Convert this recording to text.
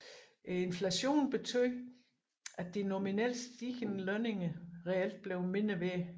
Inflationen betød at de nominelt stigende lønninger reelt blev mindre værd